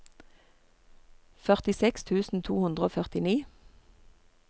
førtiseks tusen to hundre og førtini